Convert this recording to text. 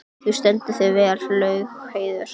Þú stendur þig vel, Laugheiður!